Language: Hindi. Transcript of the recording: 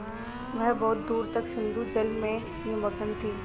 वह बहुत दूर तक सिंधुजल में निमग्न थी